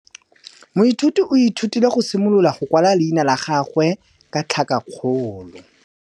Moithuti o ithutile go simolola go kwala leina la gagwe ka tlhakakgolo.